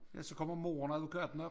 Ja så kommer moren og advokaten op